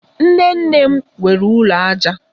Nnenne m nwere ụlọ aja